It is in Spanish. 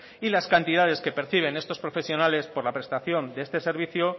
y las cantidades que perciben estos profesionales por la prestación de este servicio